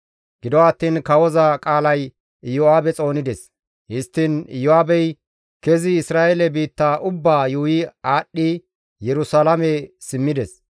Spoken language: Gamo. Gido attiin kawoza qaalay Iyo7aabe xoonides; histtiin Iyo7aabey kezi Isra7eele biitta ubbaa yuuyi aadhdhi Yerusalaame simmides.